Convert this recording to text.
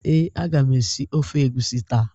Ee, aga m esi ofe egwusi taa.